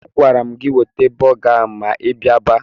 Agwara m gị weta bọga ahụ ma ị biaba!